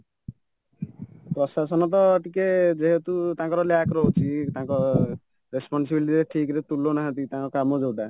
ପ୍ରଶାସନ ତ ଟିକେ ଯେହେତୁ ତାଙ୍କର lack ରହୁଛି ତାଙ୍କ responsibility ଠିକ୍ ରେ ତୁଳାଉନାହାନ୍ତି ତାଙ୍କ କାମ ଯୋଉଟା